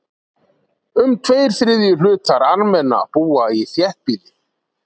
Um tveir þriðju hlutar Armena búa í þéttbýli.